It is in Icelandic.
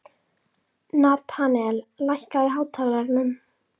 Natanael, lækkaðu í hátalaranum.